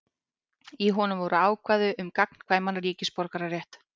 Í honum voru ákvæði um gagnkvæman ríkisborgararétt.